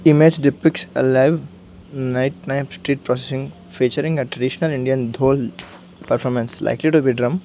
image depicts a live night street processing featuring a traditional indian dhol performance likely to be drum.